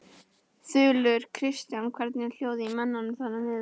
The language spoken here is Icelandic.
Þulur: Kristján, hvernig er hljóðið í mönnum þarna niður frá?